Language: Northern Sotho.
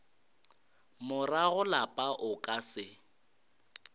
morago lapa o ka se